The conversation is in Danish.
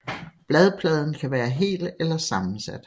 Bladpladen kan være hel eller sammensat